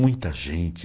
Muita gente.